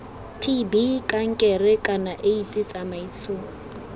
tb kankere kana aids tsamaiso